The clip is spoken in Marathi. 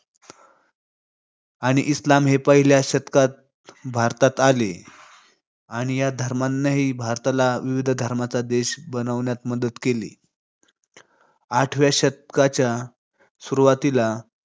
आणि इस्लाम हे पहिल्या शतकात भारतात आले आणि या धर्मांनीही भारताला विविध धर्मांचा देश बनवण्यात मदत केली. आठव्या शतकाच्या सुरुवातीला